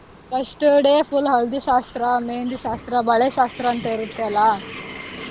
First day full haldi ಶಾಸ್ತ್ರ, मेहँदी ಶಾಸ್ತ್ರ, ಬಳೆ ಶಾಸ್ತ್ರಾಂತ ಇರತ್ತೆ ಅಲ್ಲಾ,